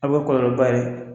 Aw bɛ kɔlɔlɔba ye